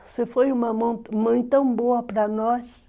Você foi uma mãe tão boa para nós.